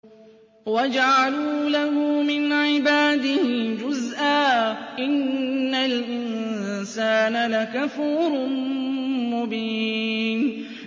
وَجَعَلُوا لَهُ مِنْ عِبَادِهِ جُزْءًا ۚ إِنَّ الْإِنسَانَ لَكَفُورٌ مُّبِينٌ